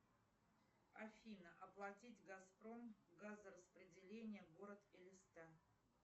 афина оплатить газпром газораспределение город элиста